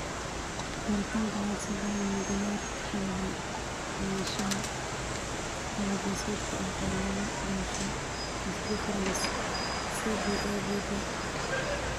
Baaritaanka hidde-sidaha ma diyaar u yahay maqnaanshaha laba-geesoodka ah ee lagu dhasho vas deferens (CBAVD)?